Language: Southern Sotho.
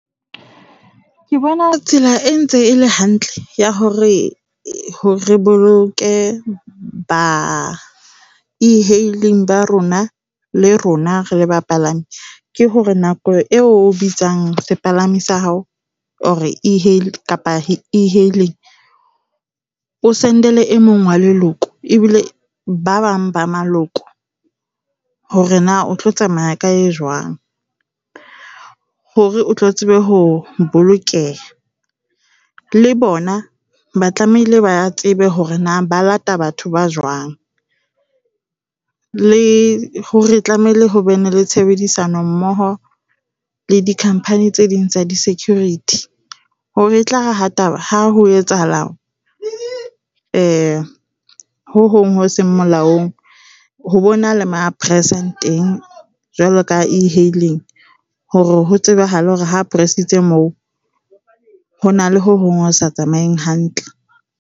Ke bona tsela e ntse e le hantle ya hore re boloke ba e-hailing ba rona, le rona re le bapalami ke hore nako eo o bitsang sepalami sa hao or kapa e-hailing o send-ele e mong wa leloko. Ebile ba bang ba maloko hore na o tlo tsamaya ka e jwang hore o tlo tsebe ho bolokeha. Le bona ba tlamehile ba tsebe hore na ba lata batho ba jwang le hore tlamehile ho be ne le tshebedisano mmoho le di company tse ding tsa di-security. Hore etlare ha ha ho etsahala ho hong ho seng molaong ho bo na le mo a press-ang teng jwalo ka e-hailing hore ho tsebahale hore ha press-itse moo ho na le ho na le ho hong ho sa tsamaeng hantle.